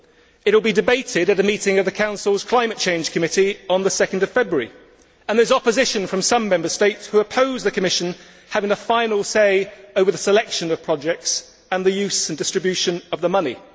It will be debated at a meeting of the Council's Climate Change Committee on 2 February, and there is opposition from some Member States who oppose the Commission having the final say over the selection of projects and the use and distribution of the money.